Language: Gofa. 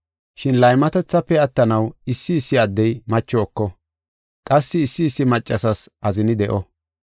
Shin laymatethafe attanaw issi issi addey macho eko; qassi issi issi maccasas azini de7o.